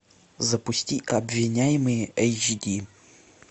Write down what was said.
запусти обвиняемые эйч ди